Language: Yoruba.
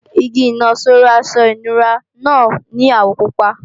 Igi ìnaṣọró aṣọ ìnura náà ní àwọ̀ pupa